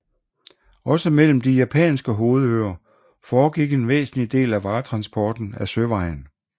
Også mellem de japanske hovedøer foregik en væsentlig del af varetransporten ad søvejen